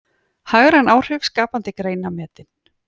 Hagræn áhrif skapandi greina metin